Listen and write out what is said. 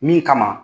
Min kama